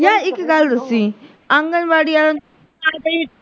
ਯਾਰ ਇੱਕ ਗੱਲ ਦੱਸੀਂ ਆਂਗਣਵਾੜੀ ਆਹ